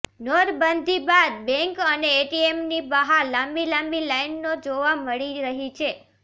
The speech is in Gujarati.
નોટબંધી બાદ બેંક અને એટીએમની બહાર લાંબી લાંબી લાઇનો જોવા મળી રહી છે